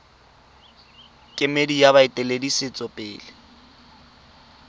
kemedi ya baeteledipele ba setso